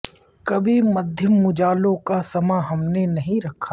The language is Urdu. کبھی مدھم اجالوں کا سماں ہم نے نہیں رکھا